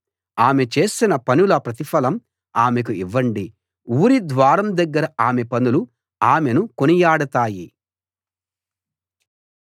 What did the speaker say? ఆమె చేసిన పనుల ప్రతిఫలం ఆమెకు ఇవ్వండి ఊరి ద్వారం దగ్గర ఆమె పనులు ఆమెను కొనియాడతాయి